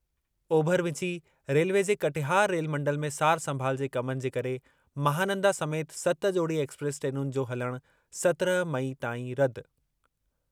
ओभर विचीं रेलवे जे कटिहार रेलमंडल में सार-संभाल जे कमनि जे करे महानंदा समेति सत जोड़ी एक्सप्रेस ट्रेनुनि जो हलणु सत्रहं मई ताईं रदि।